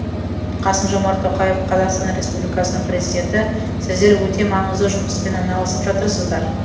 қасым жомарт тоқаев қазақстан республикасының президенті сіздер өте маңызды жұмыспен айналысып жатырсыздар